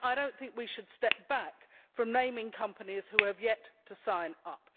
I do not think that we should step back from naming companies who have yet to sign up.